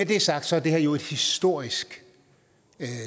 det er sagt er det her jo et historisk